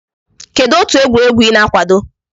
Kedụ otu egwuregwu I na-akwado?